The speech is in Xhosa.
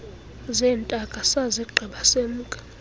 zeentaka sazigqiba semka